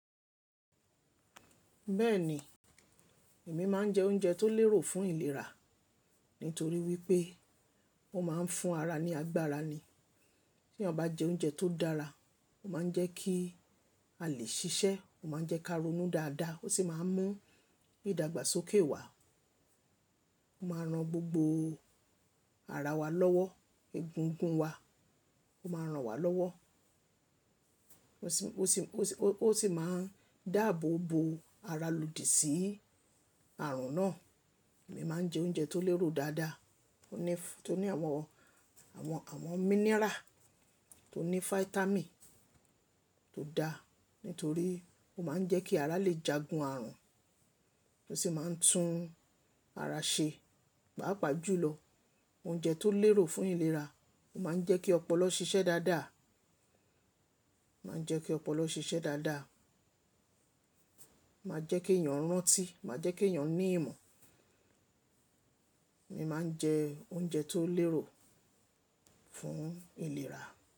Bẹ́ẹ̀ni, èmi máa ń jẹ oúnjẹ tó lérò fún ìlera nítorí wípé ó máa ń fún ara ní agbára ni. Tí eyan bá jẹ oúnjẹ tó dára, ó máa ń jẹ́ kí a lè ṣiṣẹ́, ó máa ń jẹ́ ká ronú dáadáa, ó sì máa ń mú ìdàgbàsókè wá. Ó máa ran gbogbo ara wa lọ́wọ́, egungun wa, ó máa ran wa lọ́wọ́. Ó sì, ó sì, ó sì máa ń dáàbò bo ara lòdì sí àrùn náà. Èmi máa ń jẹ oúnjẹ tó lérò dáadáa, tó ní àwọn, àwọn, àwọn mineral, tó ní vitamin tó da nítorí ó máa ń jẹ́ kí ara lè jagun àrùn, ó sì máa ń tún ara ṣe. Páápàá jùlọ, oúnjẹ tó lérò fún ìlera ó máa ń jẹ́ kí ọpọlọ ṣiṣẹ́ dáadáa, ó máa ń jẹ́ kí ọpọlọ ṣiṣẹ́ dáadáa, ó máa jẹ́ kí èèyàn rántí, ó máa jẹ́ kí èèyàn ní ìmọ̀. Èmi máa ń jẹ oúnjẹ tó lérò fún ìlera.